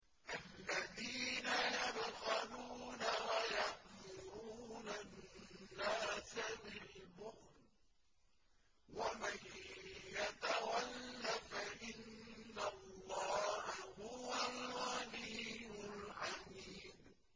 الَّذِينَ يَبْخَلُونَ وَيَأْمُرُونَ النَّاسَ بِالْبُخْلِ ۗ وَمَن يَتَوَلَّ فَإِنَّ اللَّهَ هُوَ الْغَنِيُّ الْحَمِيدُ